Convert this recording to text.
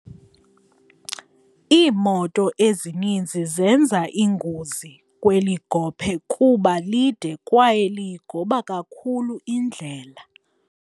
Iimoto ezininzi zenza ingozi kweli gophe kuba lide kwaye liyigoba kakhulu indlela.